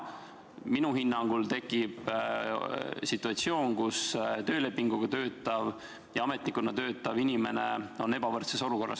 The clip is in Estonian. Minu hinnangul tekib situatsioon, kus töölepingu alusel töötav ja ametnikuna töötav inimene on ebavõrdses olukorras.